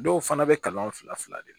Dɔw fana bɛ kalan fila fila de kɛ